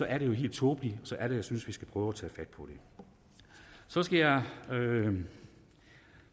er det jo helt tåbeligt og så er det jeg synes vi skal prøve at tage fat på det så skal jeg